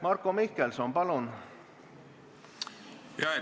Marko Mihkelson, palun!